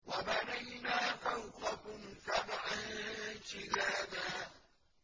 وَبَنَيْنَا فَوْقَكُمْ سَبْعًا شِدَادًا